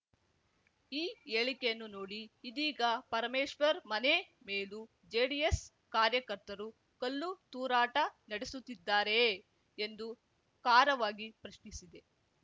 ಈ ಹೇಳಿಕೆಯನ್ನು ನೋಡಿ ಇದೀಗ ಪರಮೇಶ್ವರ್‌ ಮನೆ ಮೇಲೂ ಜೆಡಿಎಸ್‌ ಕಾರ್ಯಕರ್ತರು ಕಲ್ಲು ತೂರಾಟ ನಡೆಸುತಿದ್ದಾರೆಯೇ ಎಂದು ಖಾರವಾಗಿ ಪ್ರಶ್ನಿಸಿದೆ